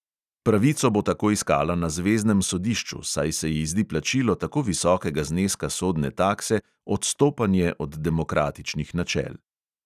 Pravico bo tako iskala na zveznem sodišču, saj se ji zdi plačilo tako visokega zneska sodne takse odstopanje od demokratičnih načel.